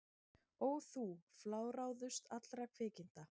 Ó þú fláráðust allra kvikinda!